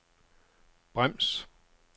brems